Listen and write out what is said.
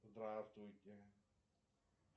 здравствуйте